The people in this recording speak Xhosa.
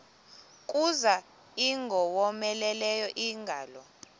kuza ingowomeleleyo ingalo